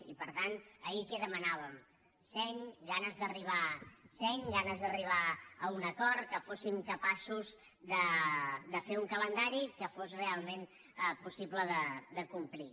i per tant ahir què demanàvem seny ganes d’arribar a un acord que fóssim capaços de fer un calendari que fos realment possible de complir